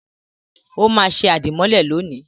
Ó máa ṣe àdìmọ́lẹ̀ lónìí.